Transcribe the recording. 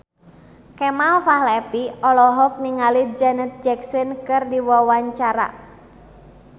Kemal Palevi olohok ningali Janet Jackson keur diwawancara